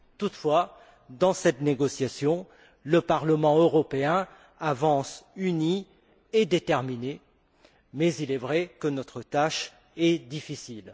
Toutefois, dans cette négociation, le Parlement européen avance uni et déterminé, mais il est vrai que notre tâche est difficile.